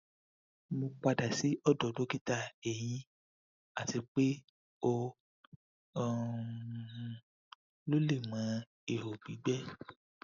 mo pada si ọdọ dokita ehin ati pe o um lo lẹẹmọ iho gbigbẹ